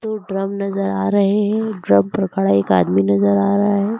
दो ड्रम नजर आ रहे हैं ड्रम पर खड़ा एक आदमी नजर आ रहा है।